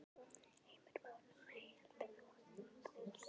Heimir Már: Nei, heldur þú að það takist?